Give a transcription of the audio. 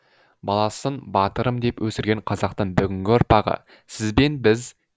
баласын батырым деп өсірген қазақтың бүгінгі ұрпағы сіз бен біз